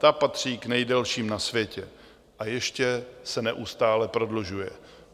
Ta patří k nejdelším na světě a ještě se neustále prodlužuje.